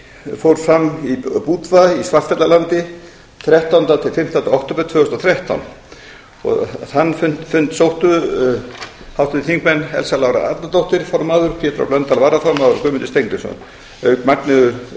fór fram í budva í svartfjallalandi þrettánda til fimmtánda október tvö þúsund og þrettán þann fund sóttu háttvirtir þingmenn elsa lára arnardóttir formaður pétur h blöndal varaformaður og guðmundur steingrímsson auk magneu